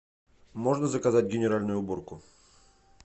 можно заказать генеральную уборку